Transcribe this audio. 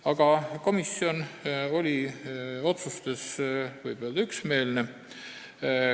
Aga võib öelda, et komisjon oli oma otsustes üksmeelne.